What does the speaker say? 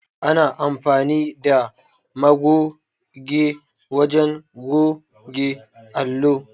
Ana amfani da magoge wajen goge allo.